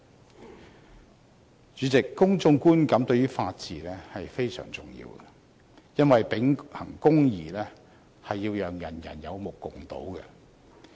代理主席，公眾觀感對於法治非常重要，因為秉行公義是要讓人有目共睹。